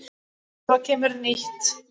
Svo kemur nýtt.